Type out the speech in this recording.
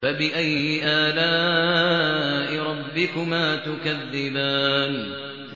فَبِأَيِّ آلَاءِ رَبِّكُمَا تُكَذِّبَانِ